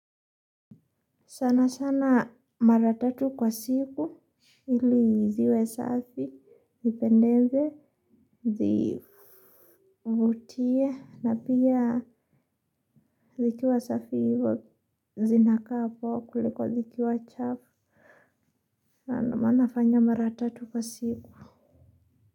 Sana sana mara tatu kwa siku ili ziwe safi nipendeze zivutie na pia zikiwa safi zinakaa poa kuliko zikiwa chafu sana manafanya mara tatu kwa siku.